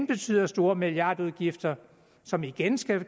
betyder store milliardudgifter som igen skal